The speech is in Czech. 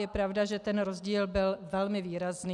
Je pravda, že ten rozdíl byl velmi výrazný.